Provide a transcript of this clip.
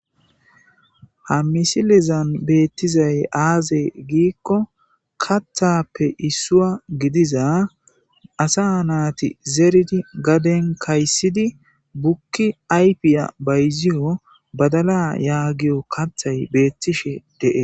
Ha misilezan beetizay aaze giiko kaththappe isuwa gidiza asa naati zeridi gaden kaysidi buki ayfiya bayziyo badala yagiyo kaththay beetishe de'es.